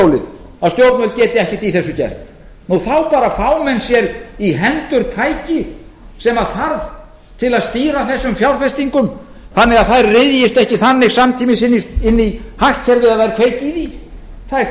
stjórnvöld geti ekkert í þessu gert nú þá fá menn bara sér í hendur tæki sem þarf til að stýra þessum fjárfestingum þannig að þær ryðjist ekki þannig samtímis inn í hagkerfið að það verði kveikt í því það er